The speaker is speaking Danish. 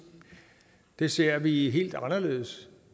det ser vi helt anderledes